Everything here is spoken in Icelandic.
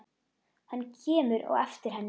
Hann kemur á eftir henni.